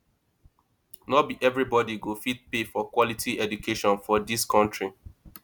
no be everybodi go fit pay for quality education for dis country